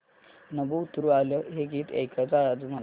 नभं उतरू आलं हे गीत ऐकायचंय आज मला